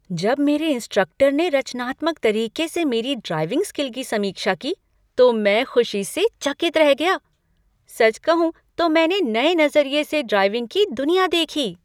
जब मेरे इंस्ट्रक्टर ने रचनात्मक तरीके से मेरी ड्राइविंग स्किल की समीक्षा की, तो मैं खुशी से चकित रह गया। सच कहूँ तो मैंने नए नज़रिए से ड्राइविंग की दुनिया देखी।